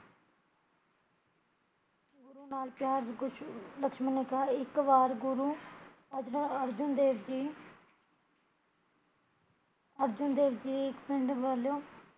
ਗੁਰੂ ਨਾਲ਼ ਪਿਆਰ, ਕੁਸ਼ ਲਕਸ਼ਮਣ ਨੇ ਕਹਾ ਇੱਕ ਵਾਰ ਗੁਰੂ ਅਰਜੁਨ ਦੇਵ ਜੀ ਅਰਜੁਨ ਦੇਵ ਜੀ ਇੱਕ ਪਿੰਡ ਵੱਲੋਂ